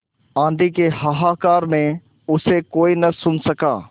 आँधी के हाहाकार में उसे कोई न सुन सका